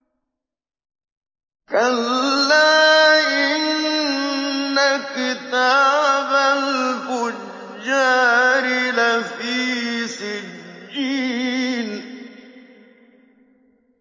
كَلَّا إِنَّ كِتَابَ الْفُجَّارِ لَفِي سِجِّينٍ